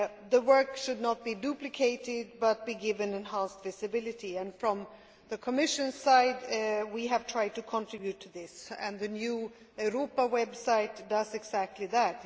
The work should not be duplicated, but be given enhanced visibility. From the Commission's side, we have tried to contribute to this, and the new Europa website does exactly